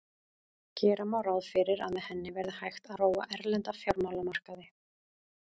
Gera má ráð fyrir að með henni verði hægt að róa erlenda fjármálamarkaði.